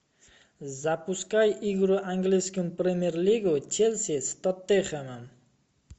запускай игру английской премьер лиги челси с тоттенхэмом